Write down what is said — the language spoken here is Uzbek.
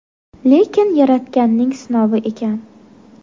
Lekin Yaratganning sinovi ekan.